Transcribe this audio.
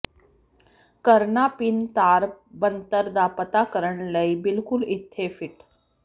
ਕਰਨਾ ਭਿਨ ਤਾਰ ਬਣਤਰ ਦਾ ਪਤਾ ਕਰਨ ਲਈ ਬਿਲਕੁਲ ਇੱਥੇ ਫਿੱਟ